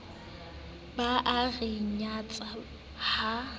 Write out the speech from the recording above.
ba a re nyatsa ha